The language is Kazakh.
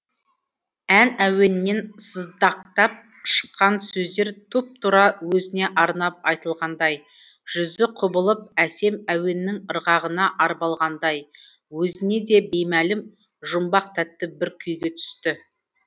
ән әуенінен сыздақтап шыққан сөздер тұп тура өзіне арнап айтылғандай жүзі құбылып әсем әуеннің ырғағына арбалғандай өзіне де беймәлім жұмбақ тәтті бір күйге түсті